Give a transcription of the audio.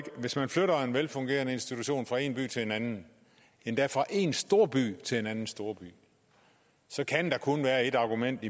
hvis man flytter en velfungerende institution fra en by til en anden endda fra en storby til en anden storby så kan der kun være et argument